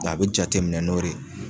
a bɛ jate minɛ n'o re ye